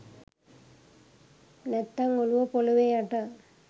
නැත්තං ඔළුව පොළව යට